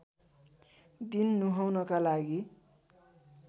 दिन नुहाउनका लागि